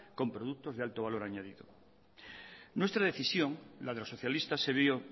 con productos de alto valor añadido nuestra decisión la de los socialistas se vio